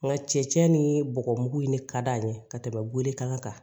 Nka cɛncɛn ni bɔgɔ mugu in ne ka d'an ye ka tɛmɛ welekan kan